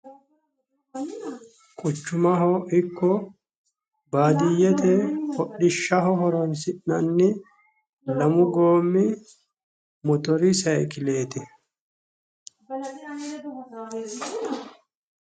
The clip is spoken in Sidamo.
quchumaho ikko baadiyyete hodhishaho horoonsi'nanni lamu goommi motori sayikileeti